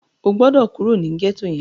O gbọ́dọ̀ kúrò ní gẹ́tò yẹn!